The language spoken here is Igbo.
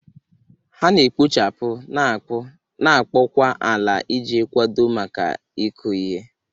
Ha na-ekpochapụ, na-akpụ, na-akpọkwa ala iji kwadebe maka ịkụ ihe.